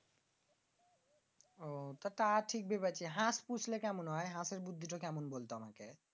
আহ তা ঠিক বলিছিস। হাঁস পৌষলে কেমন হয়? হাঁসের বুদ্ধিটা কেমন বলত?